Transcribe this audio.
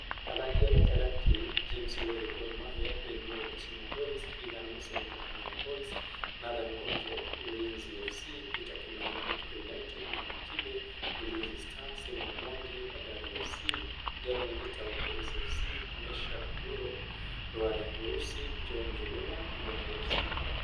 Athaki agatagatĩ: James Woria (Gor Mahia), Ben Mugo ( Kisumu Boys), Reagan Musemi( Kakamega Boyz), Nathan Ngojo (Ulinzi FC), Peter Kimani ( Bidco United), Maina KIbe ( Ulinzi Stars), Simon Mwangi ( Bandari FC), Daniel Gitau (Police FC), Meshack Mburu (Rware Urusi), John Njuguna ( Rware FC)